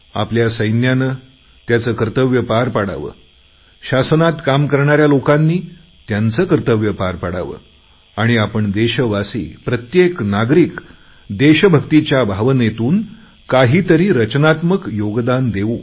आपल्या सैन्याने त्याचे कर्तव्य पार पाडावे शासनात काम करणाऱ्या लोकांनी त्यांचं कर्तव्य पार पाडावे आणि आपण देशवासी प्रत्येक नागरिक देशभक्तीच्या भावनेतून काहीतरी रचनात्मक योगदान देऊ